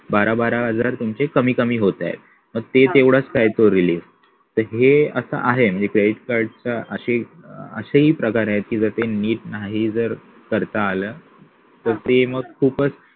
बारा बारा हजार तुमचे कमी कमी होताय मग ते तेवढाच काय तो हे असं आहे म्हणजे credit card चा असा असेही प्रकार आहेत जर ते नीट नाही जर करता आलं तर ते मग खुपचं